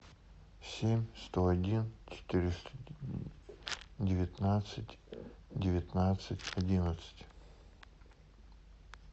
семь сто один четыреста девятнадцать девятнадцать одиннадцать